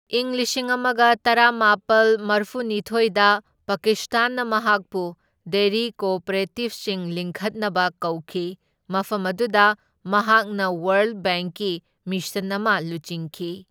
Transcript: ꯢꯪ ꯂꯤꯁꯤꯡ ꯑꯃꯒ ꯇꯔꯥꯃꯥꯄꯜ ꯃꯔꯐꯨꯅꯤꯊꯣꯢꯗ ꯄꯥꯀꯤꯁꯇꯥꯟꯅ ꯃꯍꯥꯛꯄꯨ ꯗꯦꯔꯤ ꯀꯣꯑꯣꯄꯔꯦꯇꯤꯕꯁꯤꯡ ꯂꯤꯡꯈꯠꯅꯕ ꯀꯧꯈꯤ, ꯃꯐꯝ ꯑꯗꯨꯗ ꯃꯍꯥꯛꯅ ꯋꯥꯔꯜꯗ ꯕꯦꯡꯛꯀꯤ ꯃꯤꯁꯟ ꯑꯃ ꯂꯨꯆꯤꯡꯈꯤ꯫